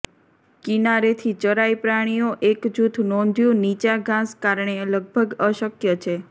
કિનારેથી ચરાઈ પ્રાણીઓ એક જૂથ નોંધ્યું નીચા ઘાસ કારણે લગભગ અશક્ય છે